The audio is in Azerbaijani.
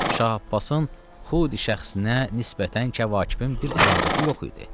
Şah Abbasın xudi şəxsinə nisbətən Kəvakibin bir ədavəti yox idi.